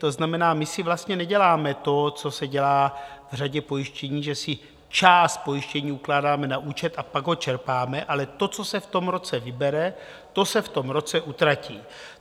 To znamená, my si vlastně neděláme to, co se dělá v řadě pojištění, že si část pojištění ukládáme na účet a pak ho čerpáme, ale to, co se v tom roce vybere, to se v tom roce utratí.